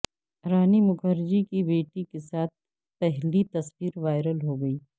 رانی مکھرجی کی بیٹی کے ساتھ پہلی تصویروائرل ہوگئی